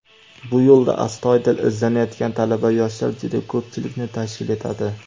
bu yo‘lda astoydil izlanayotgan talaba-yoshlar juda ko‘pchilikni tashkil etadi.